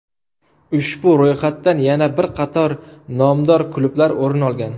Ushbu ro‘yxatdan yana bir qator nomdor klublar o‘rin olgan.